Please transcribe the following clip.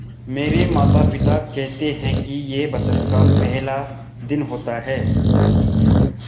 मेरे माता पिता केहेते है कि यह बसंत का पेहला दिन होता हैँ